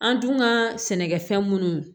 An dun ka sɛnɛkɛfɛn munnu